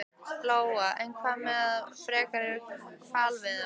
Lóa: En hvað með frekari hvalveiðar?